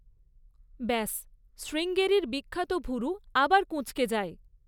ব্যস, শ্রীঙ্গেরির বিখ্যাত ভুরু আবার কুঁচকে যায়।